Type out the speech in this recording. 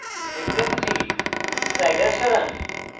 frequency slider সরান